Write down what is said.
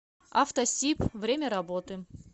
автосиб время работы